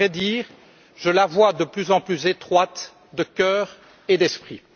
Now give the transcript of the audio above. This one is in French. À vrai dire, je la vois de plus en plus étroite de cœur et d'esprit.